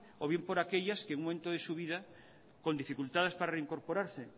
o bien por aquellas que en un momento de su vida con dificultades para reincorporarse